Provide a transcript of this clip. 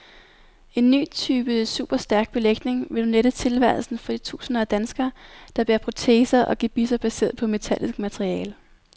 En ny type superstærk belægning vil nu lette tilværelsen for de tusinder af danskere, der bærer proteser og gebisser baseret på metallisk materiale.